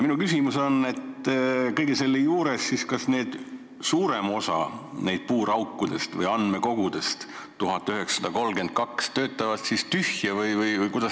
Kas siis suurem osa neist puuraukudest või andmekogudest – 1932 – töötavad tühja või?